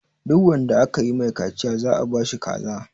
Duk wanda aka yi ma kaciya za a ba shi kaza.